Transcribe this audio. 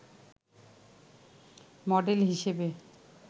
model হিসেবে